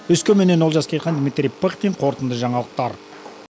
өскеменнен олжас керейхан дмитрий пыхтин қорытынды жаңалықтар